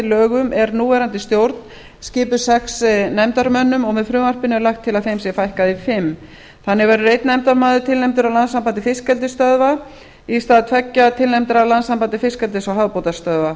lögum er núverandi stjórn skipuð sex nefndarmönnum og með frumvarpinu er lagt til að þeim sé fækkað í fimm þannig verður einn nefndarmaður tilnefndur af landssambandi fiskeldisstöðva í stað tveggja tilnefndra af landssambandi fiskeldis og hafbeitarstöðva